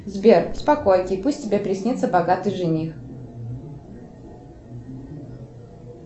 сбер спокойки пусть тебе присниться богатый жених